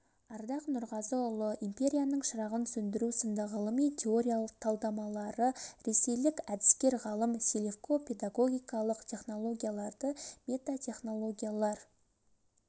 ардақ нұрғазыұлы империяның шырағын сөндіру сынды ғылыми-теориялық талдамалары ресейлік әдіскер ғалым селевко педагогикалық технологияларды метатехнологиялар